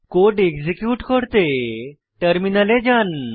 code execute করতে টার্মিনালে যান